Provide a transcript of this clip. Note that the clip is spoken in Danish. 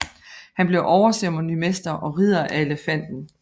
Han blev overceremonimester og Ridder af Elefanten